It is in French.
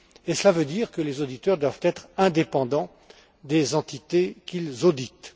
Cela veut dire que les auditeurs doivent être indépendants des entités qu'ils auditent.